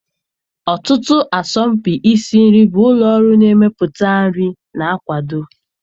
Ọtụtụ asọmpi isi nri bụ ụlọ ọrụ na-emepụta nri na-akwado.